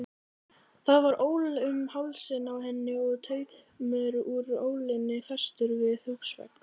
Það var ól um hálsinn á henni og taumur úr ólinni festur við húsvegg.